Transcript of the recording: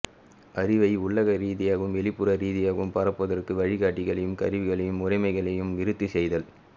அறிவை உள்ளக ரீதியாகவும் வெளிப்புற ரீதியாகவும் பரப்புவதற்கு வழிகாட்டிகளையும் கருவிகளையும் முறைமைகளையும் விருத்தி செய்தல்